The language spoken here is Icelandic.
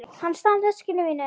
Hann stal veskinu mínu.